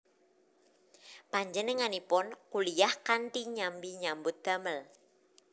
Panjenenganipun kuliyah kanthi nyambi nyambut damel